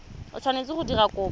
o tshwanetseng go dira kopo